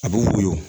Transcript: A bɛ woyo